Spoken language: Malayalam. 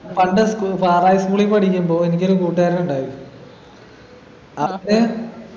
പണ്ട് school സാദാ school ൽ പഠിക്കുമ്പോ എനിക്കൊരു കൂട്ടുകാരനുണ്ടായിരുന്നു